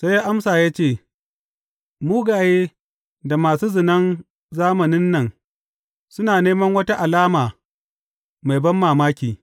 Sai ya amsa ya ce, Mugaye da masu zinan zamanin nan suna neman wata alama mai banmamaki!